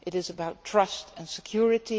It is about trust and security.